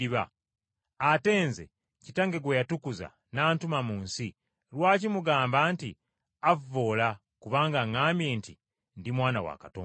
ate Nze, Kitange gwe yatukuza n’antuma mu nsi, lwaki mugamba nti avvoola kubanga ŋŋambye nti, Ndi Mwana wa Katonda?